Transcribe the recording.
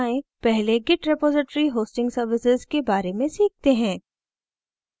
पहले git repository hosting services के बारे में सीखते हैं